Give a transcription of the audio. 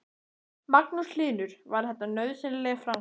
Magnús Hlynur: Var þetta nauðsynleg framkvæmd?